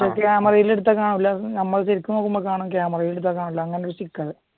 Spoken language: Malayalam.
പക്ഷെ ക്യാമറയിൽ എടുത്താൽ കാണില്ല നമ്മള് ശരിക്കും നോക്കുമ്പോ കാണും ക്യാമറയിൽ എടുത്താൽ കാണില്ല അങ്ങനത്തെ ഒരു സ്റ്റിക്കർ ഉണ്ട്